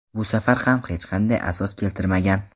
Bu safar ham hech qanday asos keltirmagan.